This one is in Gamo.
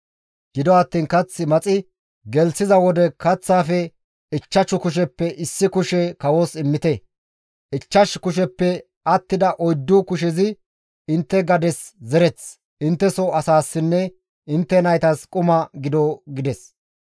Gido attiin kath maxi gelththiza wode kaththaafe ichchashu kusheppe issi kushe kawos immite. Ichchash kusheppe attida oyddu kushezi intte gades zereth, intteso asaassinne intte naytas quma gido» gides.